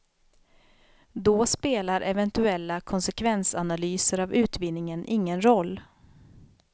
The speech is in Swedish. Då spelar eventuella konsekvensanalyser av utvinningen ingen roll.